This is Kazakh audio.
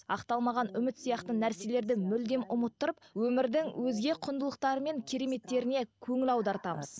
ақталмаған үміт сияқты нәрселерді мүлдем ұмыттырып өмірдің өзге құндылықтары мен кереметтеріне көңіл аудартамыз